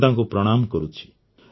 ମୁଁ ତାଙ୍କୁ ପ୍ରଣାମ କରୁଛି